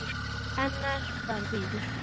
Annað bara bíður.